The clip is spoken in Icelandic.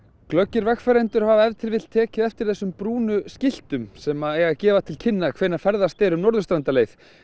glöggir vegfarendur hafa ef til vill tekið eftir þessum brúnu skiltum sem eiga að gefa til kynna hvenær ferðast er um Norðurstrandarleið